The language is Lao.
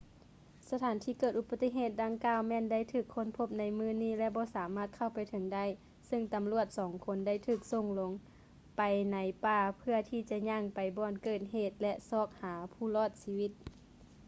ສະຖານທີ່ເກີດອຸປະຕິເຫດດັ່ງກ່າວ ແມ່ນໄດ້ຖືກຄົ້ນພົບໃນມື້ນີ້ ແລະ ບໍ່ສາມາດເຂົ້າໄປເຖິງໄດ້ ຊຶ່ງຕຳຫຼວດສອງຄົນໄດ້ຖືກສົ່ງລົງໄປໃນປ່າເພື່ອທີ່ຈະຍ່າງໄປບ່ອນເກີດເຫດ ແລະ ຊອກຫາຜູ້ລອດຊີວິດ